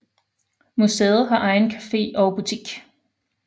Museet har egen café og butik